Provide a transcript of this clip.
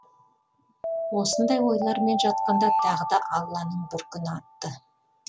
осындай ойлармен жатқанда тағы да алланың бір күні атты